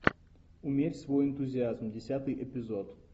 умерь свой энтузиазм десятый эпизод